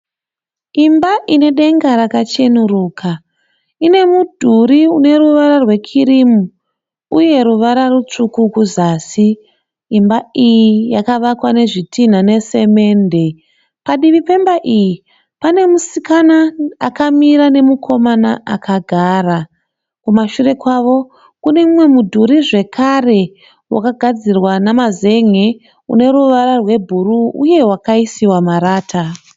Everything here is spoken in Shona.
Imba ine denga rakachenuruka. Ine mudhuri uneruvara rwekirimu uye ruvara rutsvuku kuzasi. Imba iyi yakavakwa nezvitinha nesemende. Padivi pemba iyi pane musikana akamira nemukomana akagara. Kumashure kwavo kune mumwe mudhuri zvekare wakagadzirwa namazen'e une ruvara rwebhuruu uye wakaisiwa marata.